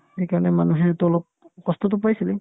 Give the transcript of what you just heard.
সেইকাৰণে মানুহেতো অলপ কষ্টতো পাইছিলে